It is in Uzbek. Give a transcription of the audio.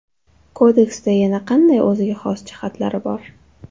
Kodeksda yana qanday o‘ziga xos jihatlar bor?